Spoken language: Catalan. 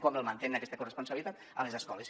com mantenen aquesta corresponsabilitat a les escoles